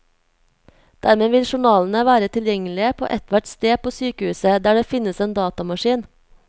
Dermed vil journalene være tilgjengelige på ethvert sted på sykehuset der det finnes en datamaskin.